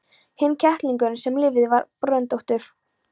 Hinn kettlingurinn sem lifði var bröndóttur.